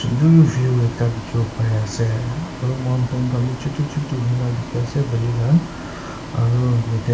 sunder view ekta dikhiwo parease aro mountain khan bi chutu chutu hoina dikhiase aro yatae.